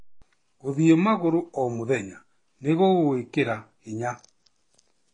Gũthiĩ magũrũ o mũthenya nĩ gũgwĩkĩra hinya.